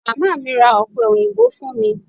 Màmá mi ra ọ̀pẹ òyìnbó fún mi.